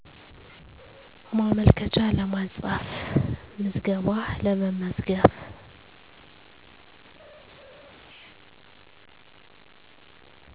ማመልከቻ ለማስፃፍ ምዝገባ ለመመዝገብ